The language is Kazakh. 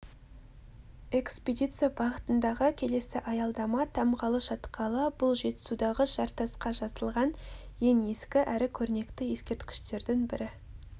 экспедиция бағытындағы келесі аялдама тамғалы шатқалы бұл жетісудағы жартасқа жазылған ең ескі әрі көрнекті ескерткіштердің бірі